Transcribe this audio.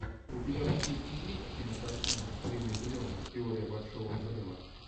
у тебя в списке есть кинокартина с риной зеленой теория большого взрыва